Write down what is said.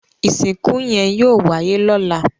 Ìsìnkú yẹn yóò wáyé lọ́la